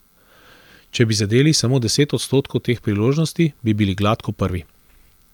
Če bi zadeli samo deset odstotkov teh priložnosti, bi bili gladko prvi.